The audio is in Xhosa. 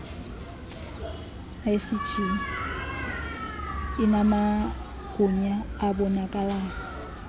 icge inamagunya abonakalayo